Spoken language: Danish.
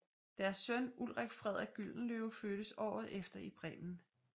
Deres søn Ulrik Frederik Gyldenløve fødtes året efter i Bremen